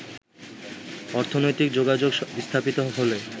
অর্থনৈতিক যোগাযোগ স্থাপিত হলে